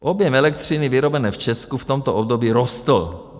Objem elektřiny vyrobené v Česku v tomto období rostl.